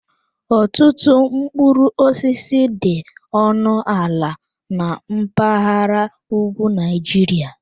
Ọtụtụ mkpụrụ osisi dị ọnụ ala na mpaghara ugwu Nigeria.